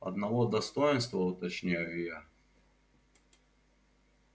одного достоинства уточняю я